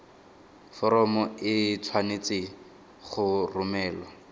foromo e tshwanetse go romelwa